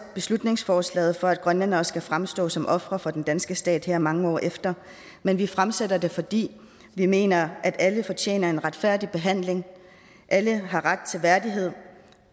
beslutningsforslaget for at grønlændere skal fremstå som ofre for den danske stat her mange år efter men vi fremsætter det fordi vi mener at alle fortjener en retfærdig behandling alle har ret til værdighed